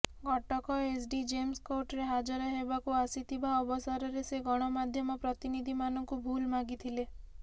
Cuttack SDJM କୋର୍ଟରେ ହାଜର ହେବାକୁ ଆସିଥିବା ଅବସରରେ ସେ ଗଣମାଧ୍ୟମ ପ୍ରତିନିଧିମାନଙ୍କୁ ଭୁଲ୍ ମାଗିଥିଲେ